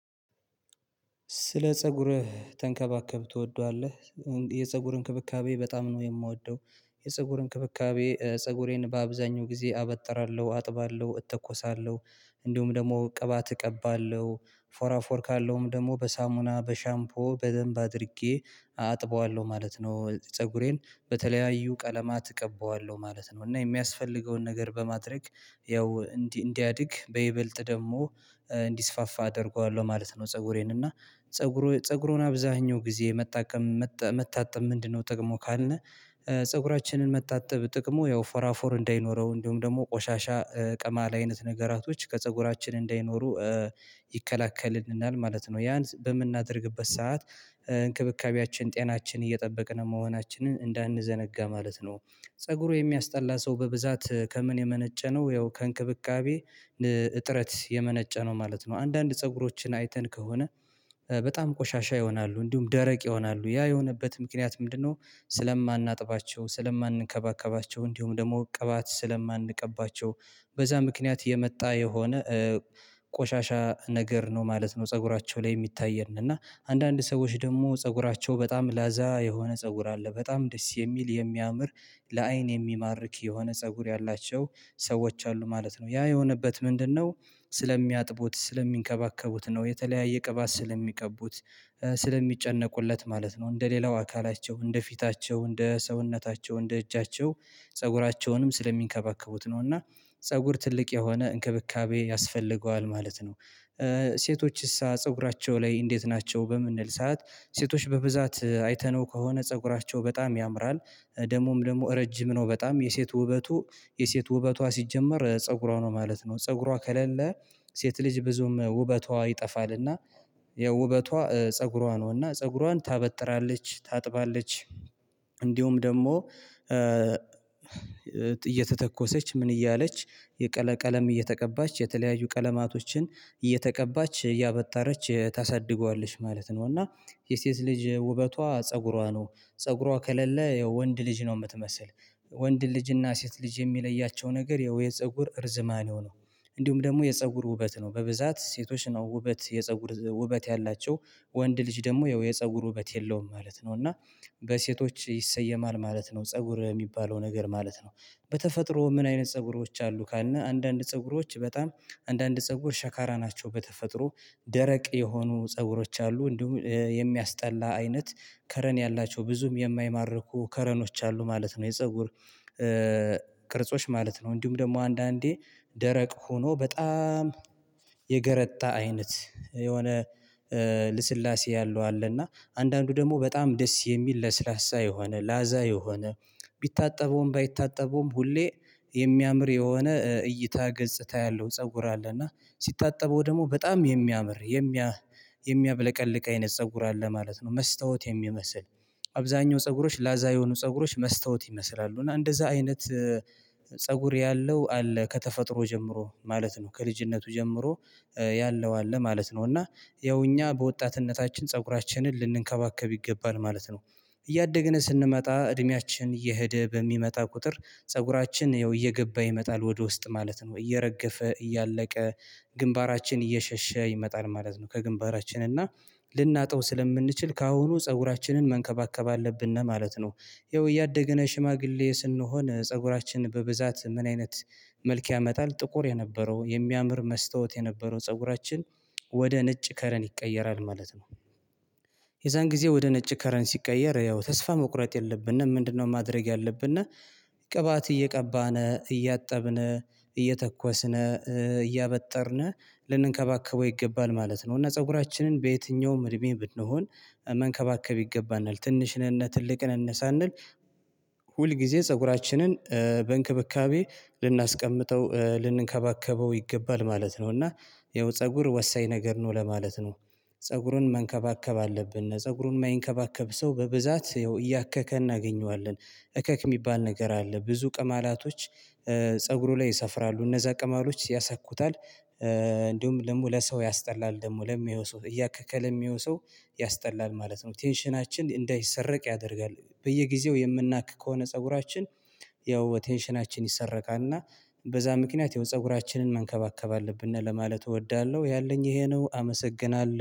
ስለ ፀጉርህ ተንከባከብ ትወደዋለህ የፀጉር እንክብካቤ በጣም ነው የምወደው። የፀጉር እንክብካቤ ፀጉሬን በአብዛኛው ጊዜ አበጥራለሁ አጥባለሁ እተኮሳለሁ። እንዲሁም ደግሞ ቅባት እቀባለሁ። ፎራፎር ካለውም ደግሞ በሳሙና በሻምፖ በደንብ አድርጌ አጥበዋለሁ ማለት ነው። ፀጉሬን በተለያዩ ቀለማት እቀበዋለሁ ማለት ነው። እና የሚያስፈልገውን ነገር በማድረግ ያው እንዲህ እንዲያድግ በይበልጥ ደግሞ እንዲስፋፋ አደርገዋለሁ ማለት ነው። ፀጉሬን እና ፀጉሩ ፀጉሩን አብዛኛው ጊዜ መታከም መታጠብ ምንድነው? ጥቅሞ ካልነ። ፀጉራችንን መታጠብ ጥቅሙ ያው ፈራፎር እንዳይኖረው እንዲሁም ደግሞ ቆሻሻ ቀማል አይነት ነገራቶች ከፀጉራችን እንዳይኖሩ ይከላከልልናል ማለት ነው። ያን በምናደርግበት ሰዓት እንክብካቤያችን ጤናችን እየጠበቅን መሆናችንን እንዳንዘነጋ ማለት ነው። ፀጉሩ የሚያስጠላ ሰው በብዛት ከምን የመነጨ ነው። ያው ከእንክብካቤ እጥረት የመነጨ ነው ማለት ነው። አንዳንድ ፀጉሮችን አይተን ከሆነ በጣም ቆሻሻ ይሆናሉ እንዲሁም ደረቅ ይሆናሉ ያ የሆነበት ምክንያት ምንድነው? ስለማናጥባቸው ስለማንከባከባቸው እንዲሁም ደግሞ ቅባት ስለማንቀባቸው በዛ ምክንያት የመጣ የሆነ ቆሻሻ ነገር ነው ማለት ነው። ፀጉራቸው ላይ የሚታየን እና አንዳንድ ሰዎች ደግሞ ፀጉራቸው በጣም ላዛ የሆነ ፀጉር አለ በጣም ደስ የሚል የሚያምር ለአይን የሚማርክ የሆነ ፀጉር ያላቸው ሰዎች አሉ ማለት ነው። ያ የሆነበት ምንድነው? ስለሚያጥቡት ስለሚንከባከቡት ነው የተለያየ ቅባት ስለሚቀቡት ስለሚጨነቁለት ማለት ነው። እንደ ሌላው አካላቸው እንደ ፊታቸው እንደ ሰውነታቸው እንደ እጃቸው ፀጉራቸውንም ስለሚንከባከቡት ነው። እና ፀጉር ትልቅ የሆነ እንክብካቤ ያስፈልገዋል ማለት ነው። ሴቶችሳ ፀጉራቸው ላይ እንዴት ናቸው በምንል ሰዓት ሴቶች በብዛት አይተነው ከሆነ ፀጉራቸው በጣም ያምራል። ደግሞም ደግሞ ረጅም ነው በጣም የሴት ውበቱ የሴት ውበቷ ሲጀመር ፀጉሯ ነው ማለት ነው። ፀጉሯ ከሌለ ሴት ልጅ ብዙም ውበቷ ይጠፋልና። የውበቷ ፀጉሯ ነው እና ፀጉሯን ታበጥራለች ታጥባለች። እንዲሁም ደግሞ እየተተኮሰች ምን እያለች የቀለ ቀለም እየተቀባች የተለያዩ ቀለማቶችን እየተቀባች እያበጠረች ታሳድገዋለች ማለት ነው። እና የሴት ልጅ ውበቷ ፀጉሯ ነው ፀጉሯ ከሌለ ወንድ ልጅ ነው የምትመስል። ወንድ ልጅና ሴት ልጅ የሚለያቸው ነገር ያው የፀጉር እርዝማኔው ነው። እንዲሁም ደግሞ የፀጉር ውበት ነው በብዛት ሴቶች ነው ውበት የፀጉር ውበት ያላቸው ወንድ ልጅ ደግሞ ያው የፀጉር ውበት የለውም ማለት ነው። እና በሴቶች ይሰየማል ማለት ነው። ፀጉር የሚባለው ነገር ማለት ነው። በተፈጥሮ ምን አይነት ፀጉሮዎች አሉ ካልነህ? አንዳንድ ፀጉሮዎች በጣም አንዳንድ ፀጉር ሸካራ ናቸው በተፈጥሮ ደረቅ የሆኑ ፀጉሮች አሉ እንዲሁም የሚያስጠላ አይነት ከረን ያላቸው ብዙም የማይማርኩ ከረኖች አሉ ማለት ነው። የፀጉር ቅርጾች ማለት ነው። እንዲሁም ደግሞ አንዳንዴ ደረቅ ሆኖ በጣም የገረጣ አይነት የሆነ ልስላሴ ያለው አለና አንዳንዱ ደግሞ በጣም ደስ የሚል ለስላሳ የሆነ ላዛ የሆነ ቢታጠበውም ባይታጠበውም ሁሌ የሚያምር የሆነ እይታ ገጽታ ያለው ፀጉር አለ። እና ሲታጠበው ደግሞ በጣም የሚያምር የሚያ የሚያብለቀልቅ አይነት ፀጉር አለ ማለት ነው። መስታወት የሚመስል አብዛኛው ፀጉሮች ላዛ የሆኑ ፀጉሮች መስታወት ይመስላሉ እና እንደዛ አይነት ፀጉር ያለው አለ ከተፈጥሮ ጀምሮ ማለት ነው። ከልጅነቱ ጀምሮ ያለው አለ ማለት ነው። እና ያው እኛ በወጣትነታችን ፀጉራችንን ልንከባከብ ይገባል ማለት ነው። እያደግን ስንመጣ እድሜያችን እየሄደ በሚመጣ ቁጥር ፀጉራችን ያው እየገባ ይመጣል ወደ ውስጥ ማለት ነው እየረገፈ እያለቀ ግንባራችን እየሸሸ ይመጣል ማለት ነው። ከግንባራችን እና ልናጠው ስለምንችል ከአሁኑ ፀጉራችንን መንከባከብ አለብን ነው ማለት ነው። ያው እያደገነ ሽማግሌ ስንሆን ፀጉራችን በብዛት ምን አይነት መልክ ያመጣል። ጥቁር የነበረው የሚያምር መስታወት የነበረው ፀጉራችን ወደ ነጭ ከረን ይቀየራል ማለት ነው። የዛን ጊዜ ወደ ነጭ ከረን ሲቀየር ያው ተስፋ መቁረጥ የለብንም ምንድነው? ማድረግ ያለብነ ቅባት እየቀባን እያጠብን እየተኮስን እያበጠርን ልንንከባከበው ይገባል ማለት ነው። እና ፀጉራችንን በየትኛውም እድሜ ብንሆን መንከባከብ ይገባናል ትንሽንነ ትልቅንነ ሳንል ሁል ጊዜ ፀጉራችንን በእንክብካቤ ልናስቀምጠው ልንከባከበው ይገባል ማለት ነው። እና ይኸው ፀጉር ወሳኝ ነገር ነው ለማለት ነው። ፀጉሩን መንከባከብ አለብን ፀጉሩን የማይንከባከብ ሰው በብዛት እያከከ እናገኘዋለን። እከክ የሚባል ነገር አለ ብዙ ቅማላቶች ፀጉሩ ላይ ይሰፍራሉ እነዛ ቅማሎች ያሳኩታል። እንዲሁም ደግሞ ለሰው ያስጠላል ደግሞ ለሚያየው ሰው እያከከ ለሚያየው ሰው ያስጠላል ማለት ነው። ቴንሽናችን እንዳይሰረቅ ያደርጋል በየጊዜው የምናክ ከሆነ ፀጉራችን ያው ቴንሽናችን ይሰረቃል። እና በዛ ምክንያት ያው ፀጉራችንን መንከባከብ አለብን ለማለት እወዳለሁ ያለኝ ይሄ ነው። አመሰግናለሁ